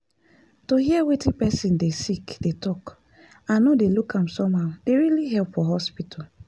to hear person dey sick dey talk and no dey look am somehow dey really help for hospital.